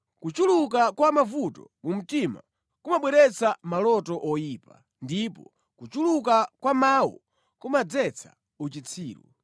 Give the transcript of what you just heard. Kuchuluka kwa mavuto mu mtima kumabweretsa maloto oyipa, ndipo kuchuluka kwa mawu kumadzetsa uchitsiru.